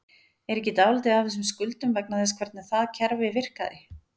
Er ekki dálítið af þessum skuldum vegna þess hvernig það kerfi virkaði?